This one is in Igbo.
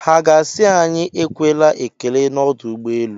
Ha ga-asị anyị ekwela ekele n'ọdụ ụgbọelu?